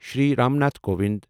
Shri Ram Nath Kovind